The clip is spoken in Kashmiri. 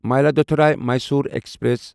مایلادتھوری میصور ایکسپریس